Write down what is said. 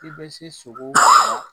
K'i bɛ se sogo ma